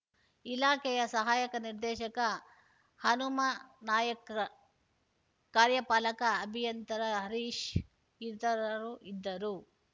ಇಲಾಖೆಯ ಸಹಾಯಕ ನಿರ್ದೇಶಕ ಹನುಮಾನಾಯ್ಕ್ ಕಾರ್ಯಪಾಲಕ ಅಭಿಯಂತರ ಹರೀಶ್‌ ಇತರರು ಇದ್ದರು